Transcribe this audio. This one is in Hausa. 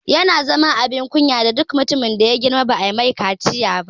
Yana zama abin kunya ga duk mutumin da ya girma ba'a mai kaciya ba